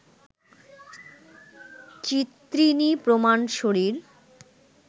চিত্রিণী প্রমাণ শরীর